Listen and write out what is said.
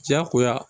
Jagoya